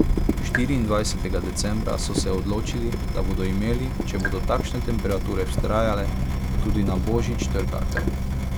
Štiriindvajsetega decembra so se odločili, da bodo imeli, če bodo takšne temperature vztrajale tudi na božič, trgatev.